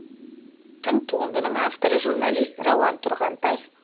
тың туындының авторы журналист рауан тұрғантай